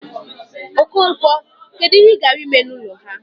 Okonkwo, kedu ihe ị gara ime n'ụlọ ha?